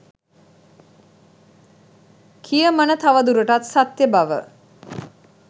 කියමන තවදුරටත් සත්‍ය බව